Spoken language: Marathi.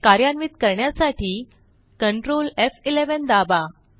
कार्यान्वित करण्यासाठी Ctrl एफ11 दाबा